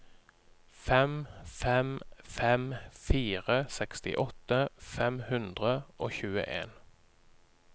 fem fem fem fire sekstiåtte fem hundre og tjueen